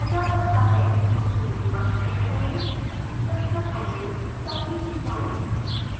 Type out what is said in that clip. tools menu पर click करें structure analysis तक नीचे जाएँ